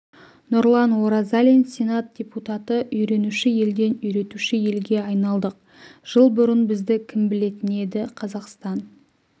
нұрлан оразалин сенат депутаты үйренуші елден үйретуші елге айналдық жыл бұрын бізді кім білетін еді қазақстан